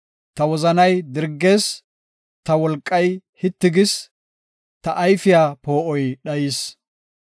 Ta wozanay dirgees; ta wolqay hitti gis; ta ayfiya poo7oy dhayis.